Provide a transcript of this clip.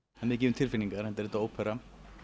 mikið um tilfinningar enda er þetta ópera